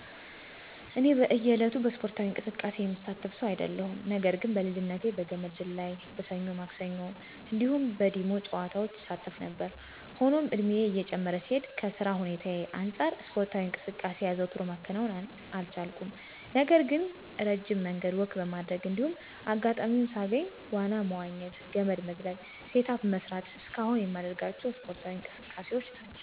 እኔ በእየ ዕለቱ በእስፖርታዊ እንቅስቃሴ የምሳተፍ ሰው አይደለሁም። ነገር ግን በልጅነቴ በገመድ ዝላይ፣ በሰኞ ማክሰኞ እንዲሁም በ ዲሞ ጨዋታዎች እሳተፍ ነበር። ሆኖም እድሜየ እየጨመረ ሲሄድ ከ ስራ ሁኔታየ አንጻር እስፖርታዊ እንቅስቃሴ አዘውትሮ ማከናወን አልቻልኩም። ነገር ግን እረጅም መንገድ ወክ በማድረግ እንዲሁም አጋጣሚዉን ሳገኝ ዋና መዋኘት፣ ገመድ መዝለል፣ ሴት አፕ መስራት እስከ አሁን የማደርጋቸው እስፖርዊ እንቅስቃሴዎች ናቸው።